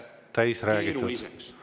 … kui nende elu ei tehta keeruliseks.